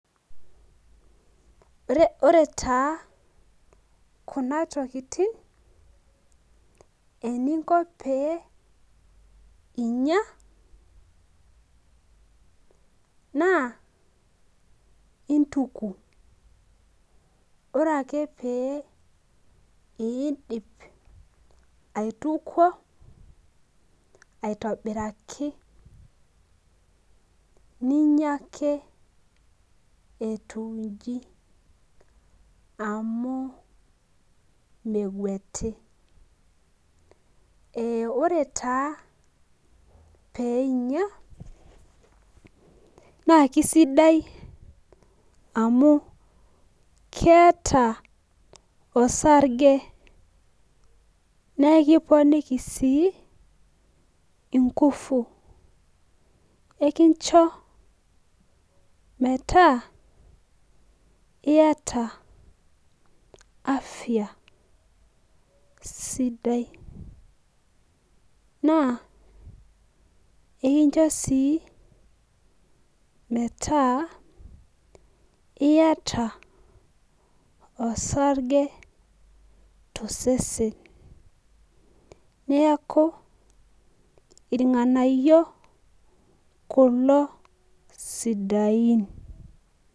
Ore taa kuna tokiting, eninko pee inya, naa, ituku. Ore ake pee idip aituko aitobiraki, ninya ake etiu iji. Amu megueti. Ore taa peinya, na kisaidia amu keeta osarge, nekiponiki si, inkufu. Nekincho metaa iyata afya sidai. Naa, ekincho si metaa iyata osarge tosesen. Neeku irng'anayio kulo sidain.